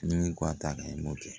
Ni min ko a ta kan i b'o kɛ